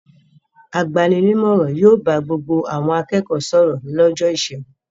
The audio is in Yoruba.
Agbani-nímọ̀ràn yóò bá gbogbo àwọn akẹ́kọ̀ọ́ sọ̀rọ̀ lọ́jọ́ ìṣẹ́gun.